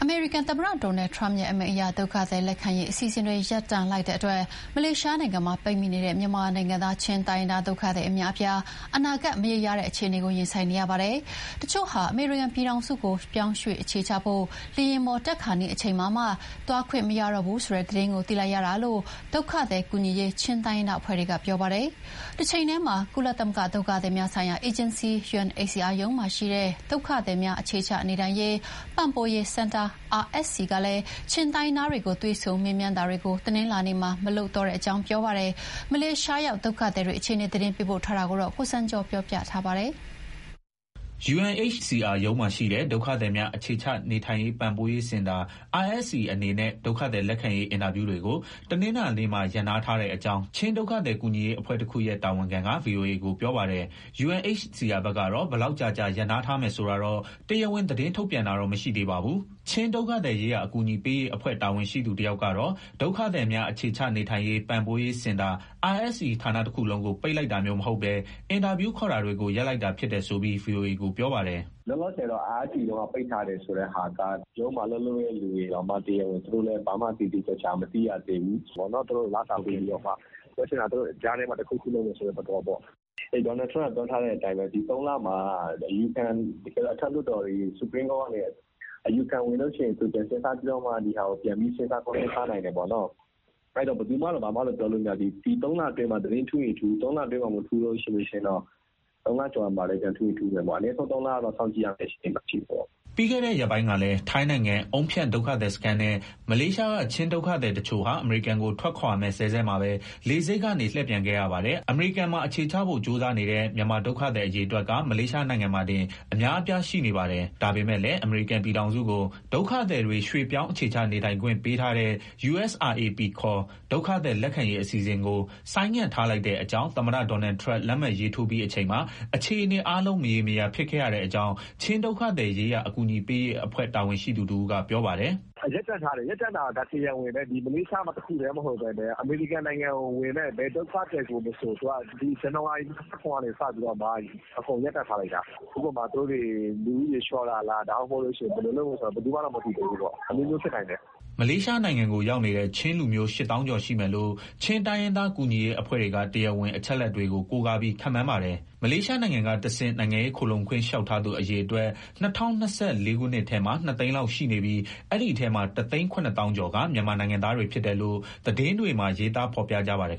မေရိကန် သမ္မတ Donald Trump ရဲ့ အမိန့်အရ ဒုက္ခသည် လက်ခံရေး အစီအစဉ်တွေ ရပ်တန့်လိုက်တဲ့အတွက် မလေးရှားနိုင်ငံမှာရှိနေတဲ့ မြန်မာနိုင်ငံသား ချင်းတိုင်းရင်းသား ဒုက္ခသည်အများအပြား အနာဂတ် မရေရာတဲ့ အခြေအနေကို ရင်ဆိုင်နေရပါတယ်။ တချို့ဟာ အမေရိကန်ပြည်ထောင်စုကို ပြောင်းရွှေ့အခြေချဖို့ လေယာဉ်ပေါ်တက်ခါနီး အချိန်မှာမှ သွားခွင့်မရတော့ဘူးဆိုတဲ့ သတင်းကို သိလိုက်ရတာလို့ ဒုက္ခသည် ကူညီရေး ချင်းတိုင်းရင်းသား အဖွဲ့တွေက ပြောပါတယ်။ တချိန်တည်းမှာ ကုလသမဂ္ဂ ဒုက္ခသည်များဆိုင်ရာ အေဂျင်စီ (UNHCR) ရုံးမှာရှိတဲ့ ဒုက္ခသည်များ အခြေချနေထိုင်ရေး ပံ့ပိုးရေးစင်တာ RSC ကလည်း ချင်းတိုင်းရင်းသားတွေကို တွေ့ဆုံမေးမြန်းတာတွေကို တနင်္လာနေ့မှာ မလုပ်တော့တဲ့ အကြောင်း ပြောပါတယ်။ မလေးရှားရောက် ဒုက္ခသည်အခြေအနေ သတင်းပေးပို့ထားတာကို တင်ပြပါမယ်။ UNHCR ရုံးမှာရှိတဲ့ ဒုက္ခသည်များ အခြေချနေထိုင်ရေး ပံ့ပိုးရေးစင်တာ RSC အနေနဲ့ ဒုက္ခသည်လက်ခံရေး အင်တာဗျူးတွေကို တနင်္လာနေ့မှာ ရပ်နားထားတဲ့အကြောင်း ချင်း ဒုက္ခသည်ကူညီရေး အဖွဲ့တခုရဲ့ တာဝန်ခံက VOA ကို ပြောပါတယ်။ UNHCR ဘက်က ဘယ်လောက်ကြာကြာ ရပ်နားထားမယ်ဆိုတာတော့ တရားဝင် သတင်းထုတ်ပြန်တာတော့ မရှိသေးပါဘူး။ ချင်းဒုက္ခသည်ရေးရာ အကူအညီပေးရေး အဖွဲ့ တာဝန်ရှိသူ တယောက်ကတော့ ဒုက္ခသည်များ အခြေချနေထိုင်ရေး ပံ့ပိုးရေးစင်တာ RSC ဌာနတခုလုံးကို ပိတ်လိုက်တာမျိုး မဟုတ်ဘဲ အင်တာဗျူးခေါ်တာတွေကို ရပ်လိုက်တာဖြစ်တယ်ဆိုပြီး VOA ကို ပြောပါတယ်။ "လောလောဆယ် RSC ရုံးက ပိတ်ထားတယ်ဆိုတဲ့ဟာက ရုံးမှာ အလုပ်လုပ်တဲ့သူတွေတောင်မှ တရားဝင် ဘာမှ သေသေချာချာ မသိရသေးဘူး။ သူတို့ကို လစာပေးပြီးတော့မှ၊ ပြောချင်တာက သူတို့ ကြားထဲမှာ တခုခုလုပ်မယ်ဆိုတဲ့ သဘောမျိုးပေါ့။ Donald Trump က ပြောထားတဲ့အတိုင်းပဲ သုံးလမှာ Supreme Court ကနေ အယူခံဝင်တဲ့အချိန် သူပြန်စဉ်းစားပြီး ဒီဟာကို ပြန်ပြီး စဉ်းစားနိုင်တယ်ပေါ့။ အဲဒီတော့ ဘယ်သူမှ ဘာမှမပြောနိုင်သေးဘူး၊ ဒီသုံးလအတွင်းမှာ သတင်းထူးရင်ထူး၊ မထူးရင် သုံးလကျော်ရင် ပြန်ထူးချင်ထူးမယ်ပေါ့။ အနည်းဆုံး သုံးလကတော့ စောင့်ကြည့်ရမဲ့ အခြေအနေမှာရှိတယ်။" ပြီးခဲ့တဲ့ရက်ပိုင်းကလည်း ထိုင်းနိုင်ငံ အုန်းဖြန့် ဒုက္ခသည်စခန်းနဲ့ မလေးရှားက ချင်းဒုက္ခသည်တချို့ဟာ အမေရိကန်ကို ထွက်ခွာမဲ့စဲစဲမှာပဲ လေဆိပ်ကနေ လှည့်ပြန်ခဲ့ရပါတယ်။ အမေရိကန်မှာ အခြေချဖို့ ကြိုးစာနေတဲ့ မြန်မာဒုက္ခသည် အရေအတွက်က မလေးရှားနိုင်ငံမှာတင် အများအပြားရှိနေပါတယ်။ ဒါပေမဲ့လည်း အမေရိကန် ပြည်ထောင်စုကို ဒုက္ခသည်တွေ ရွှေ့ပြောင်း အခြေချနေထိုင်ခွင့်ပေးထားတဲ့ USRAP ခေါ် ဒုက္ခသည် လက်ခံရေး အစီအစဉ်ကို ဆိုင်းငံ့ ထားလိုက်တဲ့ အကြောင်း သမ္မတ Donald Trump လက်မှတ်ရေးထိုးပြီး အချိန်မှာ အခြေအနေ အားလုံး မရေမရာ ဖြစ်ခဲ့ရတဲ့အကြောင်း ချင်းဒုက္ခသည်ရေးရာ အကူအညီပေးရေး အဖွဲ့ တာဝန်ရှိသူက ပြောပါတယ်။ "ရပ်တန့်လိုက်တာက တရားဝင်ပဲ။ မလေးရှားတခုတည်း မဟုတ်ဘဲနဲ့ အမေရိကန်ကိုဝင်မဲ့ ဘယ်ဒုက္ခသည်ကိုမဆို ဇန်နဝါရီ ၂၇ကနေစပြီးတော့မှ (မလေးရှား UNHCR ရုံးက) အကုန်ရပ်တန့်ထားလိုက်တာ။ ဥပမာ သူတို့တွေ လူဦးရေလျှော့တာလား၊ ဒါမှမဟုတ် ဘယ်လိုလုပ်မယ်ဆိုတာ ဘယ်သူမှ မသိသေးဘူးပေါ့။ အမျိုးမျိုး ဖြစ်နိုင်တယ်။" မလေးရှားနိုင်ငံကို ရောက်နေတဲ့ ချင်းလူမျိုး ၈၀,၀၀၀ ကျော်ရှိမယ်လို့ ချင်းတိုင်းရင်းသား ကူညီရေးအဖွဲ့တွေက တရားဝင် အချက်အလက်တွေကို ကိုးကားပြီး ခန့်မှန်းပါတယ်။ မလေးရှားနိုင်ငံက တဆင့် နိုင်ငံရေးခိုလှုံခွင့် လျှောက်ထားသူ အရေအတွက် ၂၀၂၄ ခုနှစ်ထဲမှာ ၂ သိန်းလောက်ရှိနေပြီး အဲဒီအထဲမှာ ၁၇၀,၀၀၀ ကျော်က မြန်မာနိုင်ငံသားတွေ ဖြစ်တယ်လို့ သတင်းတွေမှာ ရေးသား ဖော်ပြကြပါတယ်